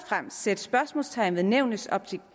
fremmest sætte spørgsmålstegn ved nævnets